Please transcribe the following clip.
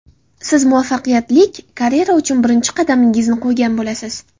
siz muvaffaqiyatlik karyera uchun birinchi qadamingizni qo‘ygan bo‘lasiz.